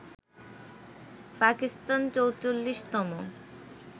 Pakistan ৪৪তম